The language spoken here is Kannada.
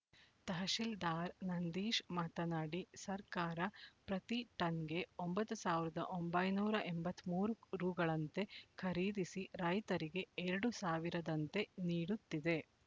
ತಹಶೀಲ್ದಾರ್ ನಂದೀಶ್ ಮಾತನಾಡಿ ಸರ್ಕಾರ ಪ್ರತಿ ಟನ್‍ಗೆ ಒಂಬತ್ತ್ ಸಾವಿರದ ಒಂಬೈನೂರ ಎಂಬತ್ತ್ ಮೂರು ರೂಗಳಂತೆ ಖರೀದಿಸಿ ರೈತರಿಗೆ ಎರಡು ಸಾವಿರದಂತೆ ನೀಡುತ್ತಿದೆ